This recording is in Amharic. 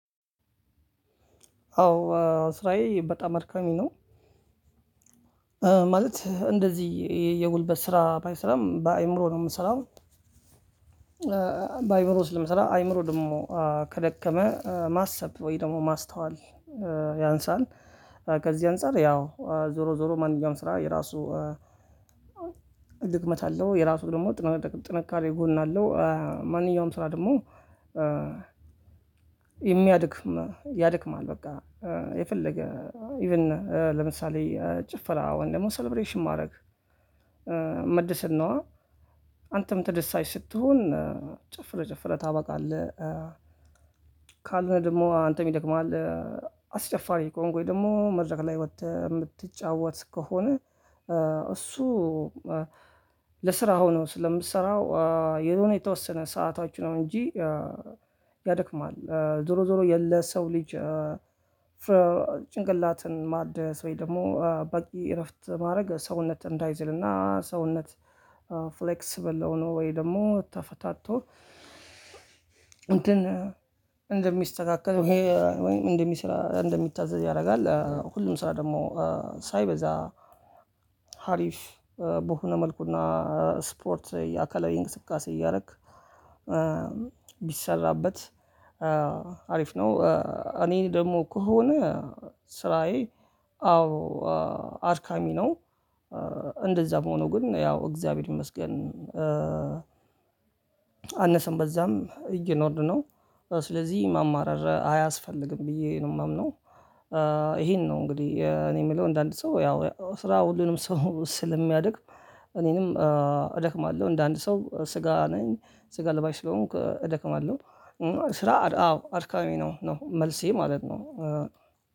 አዎ ስራዬ በጣም አድካሚ ነው። ማለት እንደዚህ የጉልበት ስራ ባይሰራም በአእምሮ ነው የምሰራው። በአእምሮ ስለምሰራ አእምሮ ደግሞ ከደከመ ማሰብ ወይ ደግሞ ማስተዋል ያንሳል። ከዚህ አንፃር ያው ዞሮ ዞሮ ማንኛውም ስራ የራሱ ድክመት አለው የራሱ ደግሞ ጥንካሬ ጎን አለው። ማንኛውም ስራ ደግሞ የሚያደክም ያድክማል በቃ የፈለገ ኢቭን ለምሳሌ ጭፈራ ወይም ደግሞ ሰለብሬሽን ማድረግ መደሰት ነዋ። አንተም ተደሳች ስትሆን ጨፍረህ ጨፍረህ ታበቃለህ። ካለህ ደግሞ አንተም ይደክምሃል። አስጨፋሪ ከሆንክ ወይም ደግሞ መድረክ ላይ ወተህ የምትጫወት ከሆነ። እሱ ለስራ ሆኖ ስለምሰራው የሆነ የተወሰነ ሰዓታችን ነው እንጂ ያደክማል ዞሮ ዞሮ የለ ሰው ልጅ። ጭንቅላትን ማደስ ወይ ደግሞ በቂ እረፍት ማድረግ ሰውነት እንዳይዝልና ሰውነት ፍሌክሰብል ሆኖ ወይም ደግሞ ተፈታቶ እንደሚስተካከል ይሄ እንደሚሰራ እንደሚታዘዝ ያደርጋል። ሁሉም ስራ ደግሞ ሳይበዛ ሀሪፍ በሆነ መልኩና ስፖርት የአካላዊ የእንቅስቃሴ እያረክ ቢሰራበት አሪፍ ነው። እኔ ደግሞ ከሆነ ስራዬ አዎ አድካሚ ነው እንደዛም ሆኖ ግን ያው እግዚአብሔር ይመስገን። አነሰም በዛም እየኖርን ነው ስለዚህ ማማረር አያስፈልግም ብዬ ነው የማምነው። ይሄን ነው እንግዲህ እኔ የምለው እንደ አንድ ሰው ያው ስራ ሁሉንም ሰው ስል የሚያደክም እኔንም እደክማለሁ እንደ አንድ ሰው ስጋ ነኝ ስጋ ለባሽ ስለሆንኩ እደክማለሁ። ስራ አዎ አድካሚ ነው ነው መልሴ ማለት ነው።